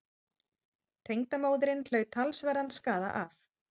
Tengdamóðirin hlaut talsverðan skaða af